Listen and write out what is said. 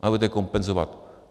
A budete kompenzovat.